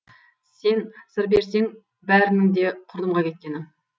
сен сыр берсең бәрінің де құрдымға кеткені